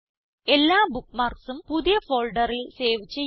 എല്ലാ bookmarksഉം പുതിയ ഫോൾഡറിൽ സേവ് ചെയ്യുക